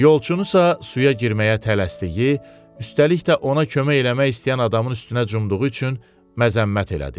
Yolçunu isə suya girməyə tələsdiyi, üstəlik də ona kömək eləmək istəyən adamın üstünə cumduğu üçün məzəmmət elədi.